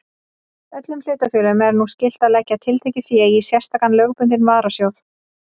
Öllum hlutafélögum er nú skylt að leggja tiltekið fé í sérstakan lögbundinn varasjóð.